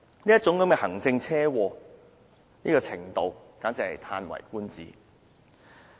這種"行政車禍"達致這種程度，簡直是嘆為觀止。